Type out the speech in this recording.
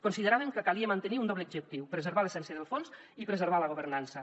consideràvem que calia mantenir un doble objectiu preservar l’essència del fons i preservar la governança